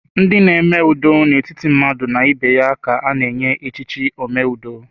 Ndị n'eme ụdọ n'etiti mmadụ na ibe ya ka a na-echikari omeudo